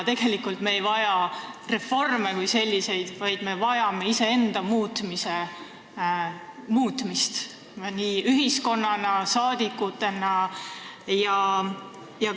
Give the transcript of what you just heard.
Tegelikult ei vaja me reforme kui selliseid, vaid me vajame iseenda muutmist nii ühiskonnana kui ka rahvasaadikutena.